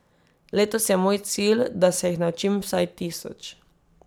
Letos je moj cilj, da se jih naučim vsaj tisoč.